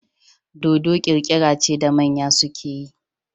Dodo kirkira ce da manya suke yi